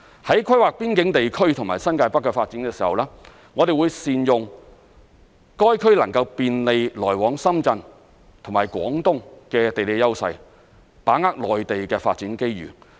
在規劃邊境地區和新界北的發展時，我們會善用該區能夠便利來往深圳及廣東的地理優勢，把握內地的發展機遇。